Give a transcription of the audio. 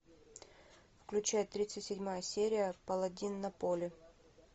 включай тридцать седьмая серия паладин на поле